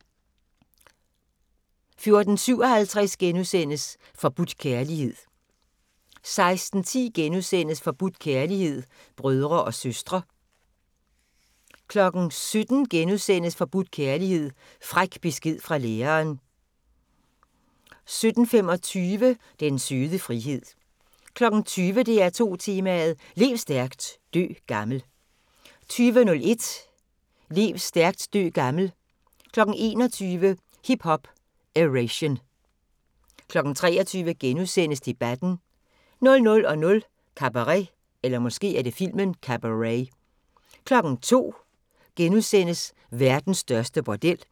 14:57: Forbudt kærlighed * 16:10: Forbudt kærlighed: Brødre og søstre * 17:00: Forbudt kærlighed: Fræk besked fra læreren * 17:25: Den søde frihed 20:00: DR2 Tema: Lev stærkt, dø gammel 20:01: Lev stærkt, dø gammel 21:00: Hip Hop-Eration 23:00: Debatten * 00:00: Cabaret 02:00: Verdens største bordel *